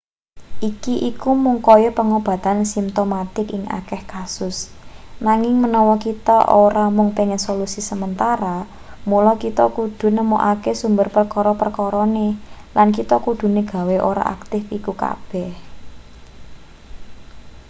iki iku mung kaya pengobatan simtomatik ing akeh kasus nanging menawa kita ora mung pengen solusi sementara mula kita kudune nemokake sumber perkara-perkarane lan kita kudune gawe ora aktif iku kabeh